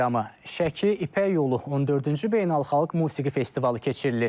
Şəki İpək Yolu 14-cü Beynəlxalq Musiqi Festivalı keçirilir.